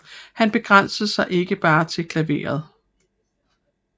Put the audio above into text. Han begrænsede sig ikke bare til klaveret